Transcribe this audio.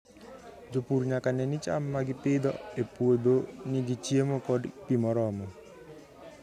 Jopur nyaka ne ni cham ma gipidho e puodho nigi chiemo kod pi moromo.